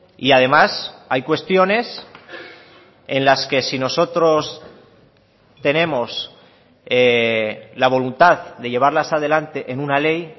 y además hay cuestiones en las que si nosotros tenemos la voluntad de llevarlas adelante en una ley